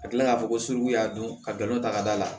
A kilala ka fɔ ko sugu y'a don ka galon ta ka d'a la